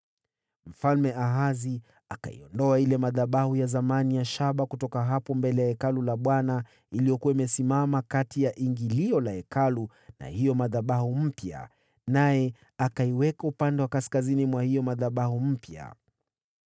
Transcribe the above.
Mfalme Ahazi akayaondoa madhabahu ya zamani ya shaba kutoka hapo mbele ya Hekalu la Bwana , yaliyokuwa yamesimama kati ya ingilio la Hekalu na hayo madhabahu mapya, naye akayaweka upande wa kaskazini mwa hayo madhabahu mapya.